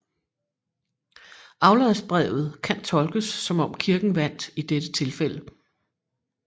Afladsbrevet kan tolkes som om Kirken vandt i dette tilfælde